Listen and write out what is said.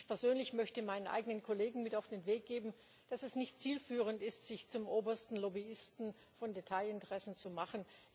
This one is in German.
Ich persönlich möchte meinen eigenen Kollegen mit auf den Weg geben, dass es nicht zielführend ist, sich zum obersten Lobbyisten von Detailinteressen zu machen.